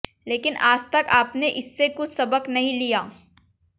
लेकिन आज तक आपने इससे कुछ सबक नहीं लिया